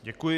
Děkuji.